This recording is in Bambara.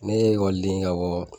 Ne ye ekɔliden ye ka bɔ